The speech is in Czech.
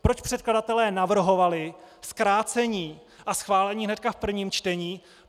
Proč předkladatelé navrhovali zkrácení a schválení hned v prvém čtení?